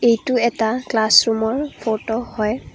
এইটো এটা ক্লাছৰুমৰ ফটো হয়।